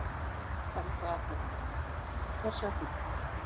Helga Arnardóttir: Hvers vegna?